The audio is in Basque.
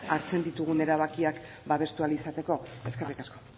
hartzen ditugun erabakiak babestu ahal izateko eskerrik asko